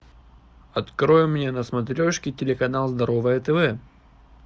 открой мне на смотрешке телеканал здоровое тв